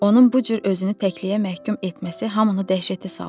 Onun bu cür özünü təkliyə məhkum etməsi hamını dəhşətə saldı.